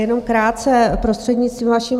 Jenom krátce, prostřednictvím vaším.